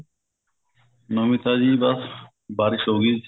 ਨਵੀ ਤਾਜ਼ੀ ਬਸ ਬਾਰਿਸ਼ ਹੋਗੀ